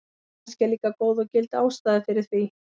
Kannski er líka góð og gild ástæða fyrir því.